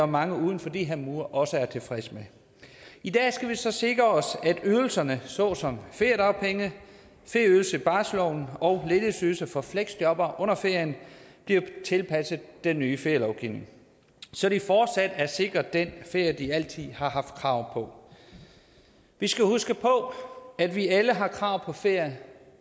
mange uden for de her mure også er tilfredse med i dag skal vi så sikre os at ydelserne såsom feriedagpenge ferieydelse i barselsorloven og ledighedsydelse for fleksjobbere under ferien bliver tilpasset den nye ferielovgivning så de fortsat er sikret den ferie de altid har haft krav på vi skal huske på at vi alle har krav på ferie